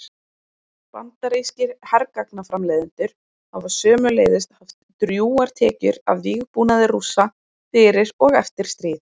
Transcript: Bandarískir hergagnaframleiðendur hafa sömuleiðis haft drjúgar tekjur af vígbúnaði Rússa fyrir og eftir stríð.